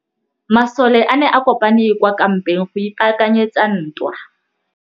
Masole a ne a kopane kwa kampeng go ipaakanyetsa ntwa.